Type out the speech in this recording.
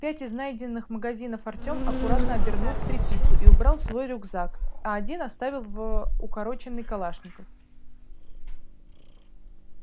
пять из найденных магазинов артем аккуратно обернул в тряпицу и убрал в свой рюкзак а один вставил в укороченный калашников